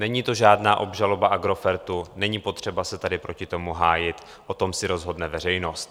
Není to žádná obžaloba Agrofertu, není potřeba se tady proti tomu hájit, o tom si rozhodne veřejnost.